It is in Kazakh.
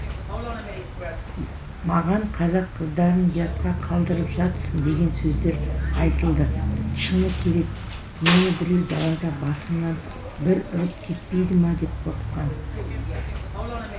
маған қазақ қыздарын ұятқа қалдырып жатсын деген сөздер айтылды шыны керек мені біреу далада басымнан бір ұрып кетпейді ма деп қорыққан